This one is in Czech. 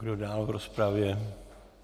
Kdo dál v rozpravě?